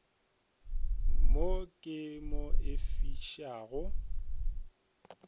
mo ke mo e fišago